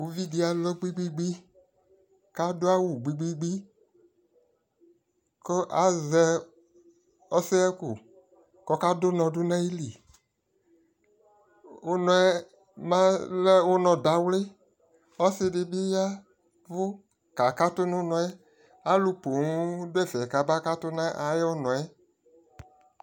ʋvi di alɔ gbigbigbii kʋadʋ awʋ gbigbigbii kʋ azɛ ɔsɛhakʋ kʋ ɔka dʋnɔ nʋ ayili, ʋnɔɛ balɛ ʋnɔ dawli, ɔsii dibi ya kʋ kakatʋ nʋ ʋnɔɛ, alʋ pɔɔm dʋ ɛƒɛ kʋ akakatʋ nʋ ʋnɔɛ